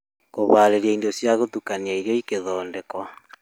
Kũharĩria indo ciagũtukanio irio igĩthondekwo